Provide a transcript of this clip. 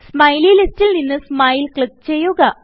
smiley ലിസ്റ്റിൽ നിന്ന് smile click ചെയ്യുക